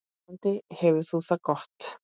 Vonandi hefur þú það gott.